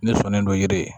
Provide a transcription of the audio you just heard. Ne sɔnnen don yiri